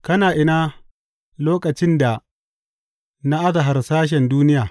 Kana ina lokacin da na aza harsashen duniya?